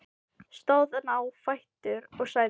Stóð enn á fætur og sagði: